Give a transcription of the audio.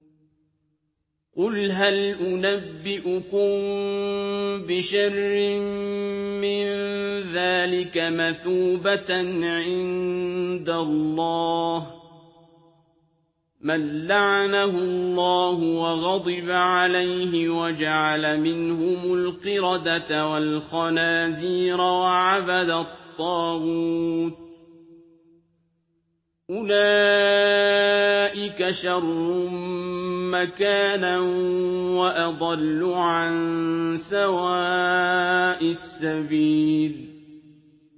قُلْ هَلْ أُنَبِّئُكُم بِشَرٍّ مِّن ذَٰلِكَ مَثُوبَةً عِندَ اللَّهِ ۚ مَن لَّعَنَهُ اللَّهُ وَغَضِبَ عَلَيْهِ وَجَعَلَ مِنْهُمُ الْقِرَدَةَ وَالْخَنَازِيرَ وَعَبَدَ الطَّاغُوتَ ۚ أُولَٰئِكَ شَرٌّ مَّكَانًا وَأَضَلُّ عَن سَوَاءِ السَّبِيلِ